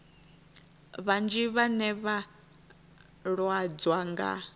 vhanzhi vhane vha lwadzwa nga